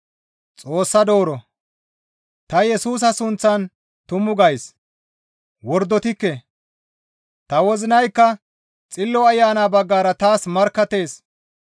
Ta Yesusa sunththan tumu gays; wordotikke; ta wozinaykka Xillo Ayana baggara taas markkattees.